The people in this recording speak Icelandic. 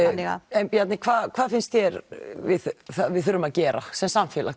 en Bjarni hvað finnst þér að við þurfum að gera sem samfélag